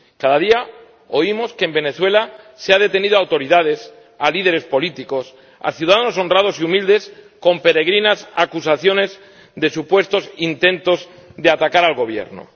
Cada día oímos que en Venezuela se ha detenido a autoridades, a líderes políticos, a ciudadanos honrados y humildes con peregrinas acusaciones de supuestos intentos de atacar al Gobierno.